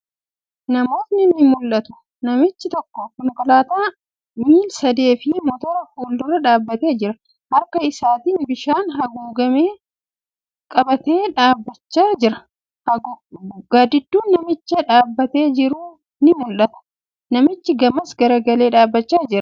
Namootni ni mul'atu. Namichi tokko konkolaataa miil-sadee fi motora fuuldura dhaabbatee jira. Harka isaatti bishaan haguuggame qabatee dhaabbachaa jira. Gaaddidduun namicha dhaabbataa jiruu ni mul'atti. Namichi gamas garagalee dhaabbachaa jira.